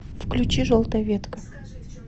включи желтая ветка